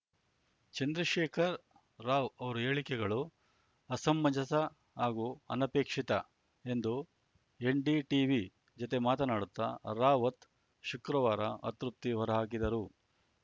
ಚಂದ್ರಶೇಖರ್ ರಾವ್‌ ಅವರ ಹೇಳಿಕೆಗಳು ಅಸಮಂಜಸ ಹಾಗೂ ಅನಪೇಕ್ಷಿತ ಎಂದು ಎನ್‌ಡಿಟೀವಿ ಜತೆ ಮಾತನಾಡುತ್ತ ರಾವತ್‌ ಶುಕ್ರವಾರ ಅತೃಪ್ತಿ ಹೊರಹಾಕಿದರು